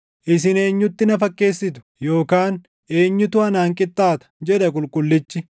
“Isin eenyutti na fakkeessitu? Yookaan eenyutu anaan qixxaata?” jedha Qulqullichi.